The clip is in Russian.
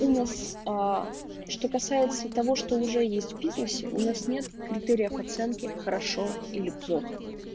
у нас аа что касается того что уже есть в бизнесе у нас нет критериев оценки хорошо или плохо